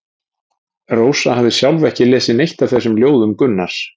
Rósa hafði sjálf ekki lesið neitt af þessum ljóðum Gunnars.